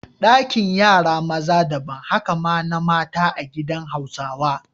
Dakin yara maza daban, haka ma na mata a gidan Hausawa.